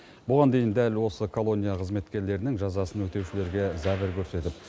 бұған дейін дәл осы колония қызметкерлерінің жазасын өтеушілерге зәбір көрсетіп